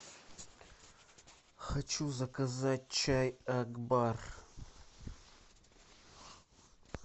хочу заказать чай акбар